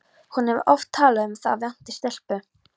Hún hefur oft talað um að það vanti stelpu.